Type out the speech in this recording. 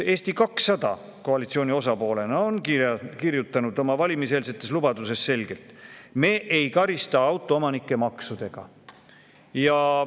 Eesti 200 koalitsiooni osapoolena on kirjutanud oma valimiseelsetes lubadustes selgelt: "Me ei karista autoomanikke maksudega.